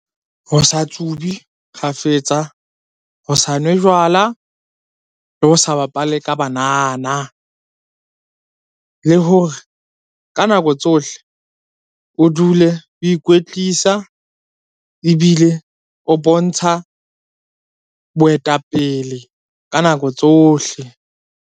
Ho sa tsube kgafetsa, ho sa nwe jwala, le ho sa bapale ka banana. Le hore ka nako tsohle o dule o ikwetlisa ebile o bontsha boetapele ka nako tsohle.